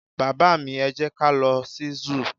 baba mi, e jẹ ka lo sí zoo